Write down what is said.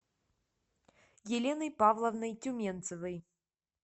еленой павловной тюменцевой